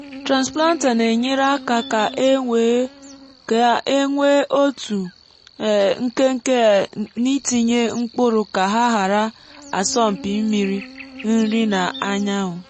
transplanter na-enyere áká ka e nwee otu um nkenke um n’itinye mkpụrụ ka ha ghara asọmpi mmiri nri na anyanwụ.